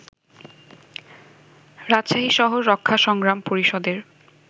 রাজশাহী শহর রক্ষা সংগ্রাম পরিষদের